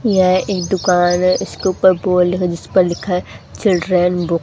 यह एक दुकान है इसके ऊपर जिस पर लिखा है चिल्ड्रेन बु--